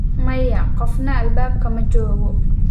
Maya, qofna albaabka ma joogo.